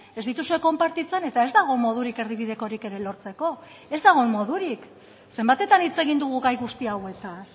ez dituzue konpartitzen eta ez dago modurik erdibidekorik ere lortzeko ez dago modurik zenbatetan hitz egin dugu gai guzti hauetaz